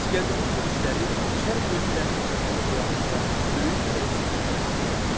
İsgəndərin yürüşləri şərq ölkələrinin mədəni həyatında böyük dəyişikliklərə səbəb oldu.